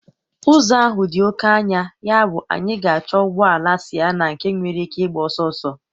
Ụzọ ahụ dị oke anya, yabụ anyị ga-achọ ụgbọ ala Sịenna nke nwere ike ịgba ọsọ ọsọ.